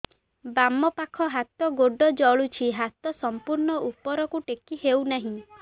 ବାମପାଖ ହାତ ଗୋଡ଼ ଜଳୁଛି ହାତ ସଂପୂର୍ଣ୍ଣ ଉପରକୁ ଟେକି ହେଉନାହିଁ